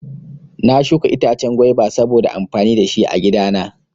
Na shuka itace gwaiba sabo amfani dashi agida